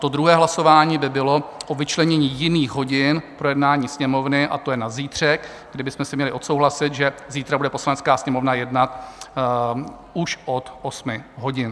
To druhé hlasování by bylo o vyčlenění jiných hodin pro jednání Sněmovny, a to je na zítřek, kdy bychom si měli odsouhlasit, že zítra bude Poslanecká sněmovna jednat už od 8 hodin.